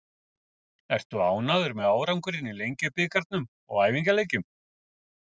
Ertu ánægður með árangurinn í Lengjubikarnum og æfingaleikjum?